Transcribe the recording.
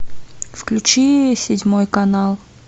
включи седьмой канал